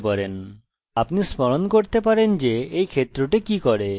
আপনি নিজে মন্তব্য করতে পারেন আপনি স্মরণ করতে পারেন যে এই ক্ষেত্র কি করে